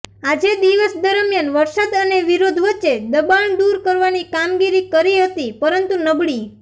આજે દિવસ દરમિયાન વરસાદ અને વિરોધ વચ્ચે દબાણ દુર કરવાની કામગીરી કરી હતી પરંતુ નબળી